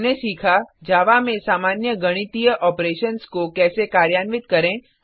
हमने सीखा जावा में सामान्य गणितीय ऑपरेशन्स को कैसे कार्यान्वित करें